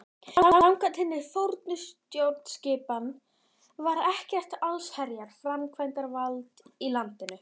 Samkvæmt hinni fornu stjórnskipan var ekkert allsherjar framkvæmdarvald í landinu.